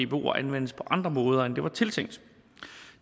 dboer anvendes på andre måder end det var tiltænkt